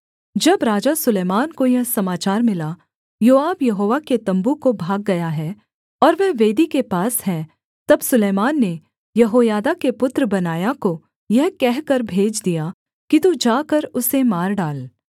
जब राजा सुलैमान को यह समाचार मिला योआब यहोवा के तम्बू को भाग गया है और वह वेदी के पास है तब सुलैमान ने यहोयादा के पुत्र बनायाह को यह कहकर भेज दिया कि तू जाकर उसे मार डाल